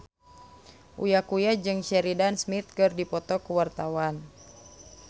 Uya Kuya jeung Sheridan Smith keur dipoto ku wartawan